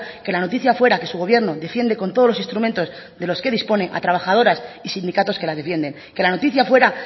que la noticia fuera que su gobierno defiende con todos los instrumentos de los que dispone a trabajadoras y sindicatos que las defienden que la noticia fuera